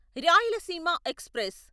Rayalaseema express